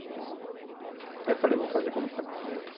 Aí eu falei, vou fazer como sempre fiz isso.